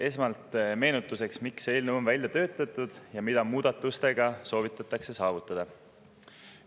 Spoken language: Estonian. Esmalt meenutuseks, miks see eelnõu on välja töötatud ja mida muudatustega soovitakse saavutada.